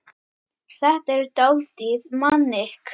Þetta var dálítið panikk.